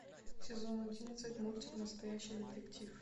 сезон одиннадцать мультик настоящий детектив